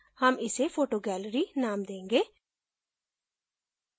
हम इसे photo gallery name देंगे